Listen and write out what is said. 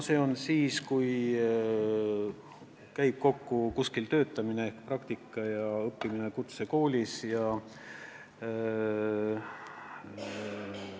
See tähendab siis seda, kui kuskil käivad kokku töötamine, praktika ja kutsekoolis õppimine.